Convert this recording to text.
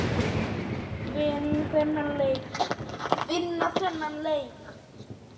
Vinna þennan leik fyrir hann!